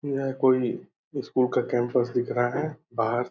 यह कोई स्कूल का कैंपस दिख रहा है बाहर --